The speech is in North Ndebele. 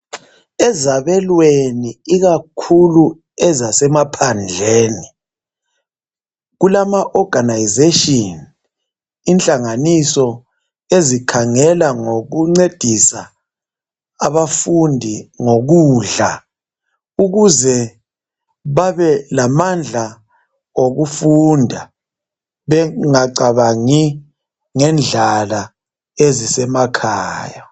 Ezabelweni ikakhulu ezasemaphandleni kulamaorganisation, inhlanganiso ezikhangela ngokuncedisa abafundi ngokudla ukuze babelamandla okufunda bengacabangi ngendlala ezisemakhaya.